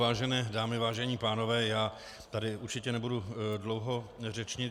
Vážené dámy, vážení pánové, já tady určitě nebudu dlouho řečnit.